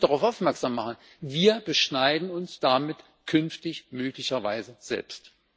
Und ich will nur darauf aufmerksam machen Wir beschneiden uns damit künftig möglicherweise selbst.